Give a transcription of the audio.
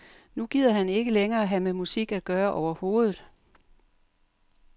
Nu gider han ikke længere have med musik at gøre overhovedet.